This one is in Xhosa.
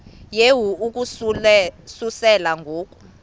yehu ukususela ngo